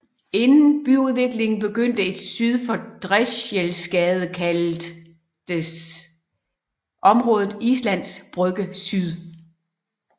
Inden byudviklingen begyndte syd for Drechselsgade kaldtes området Islands Brygge Syd